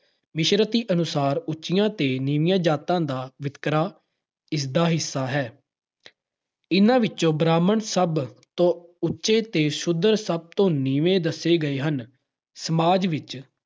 ਸਿਮਰਤੀ ਅਨੁਸਾਰ ਉਚੀਆਂ ਤੇ ਨੀਵੀਆਂ ਜਾਤਾਂ ਦਾ ਵਿਤਕਰਾ ਇਸ ਦਾ ਹਿੱਸਾ ਹੈ। ਇਹਨਾਂ ਵਿੱਚ ਬ੍ਰਾਹਮਣ ਸਭ ਤੋਂ ਉਚੇ ਤੇ ਸ਼ੂਦਰ ਸਭ ਤੋਂ ਨੀਵੇਂ ਦੱਸੇ ਗਏ ਹਨ। ਸਮਾਜ ਵਿੱਚ